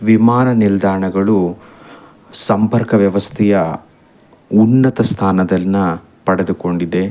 ವಿಮಾನ ನಿಲ್ದಾಣಗಳು ಸಂಪರ್ಕ ವ್ಯವಸ್ಥೆಯ ಉನ್ನತ ಸ್ಥಾನದಲ್ಲಿನ ಪಡೆದಿಕೊಂಡಿದೆ.